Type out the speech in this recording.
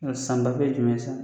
Ɛ Sanbafe ye jumɛn sisan